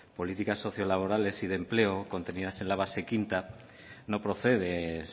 políticas sociolaborales y de empleo contenidas en la base quinta no procede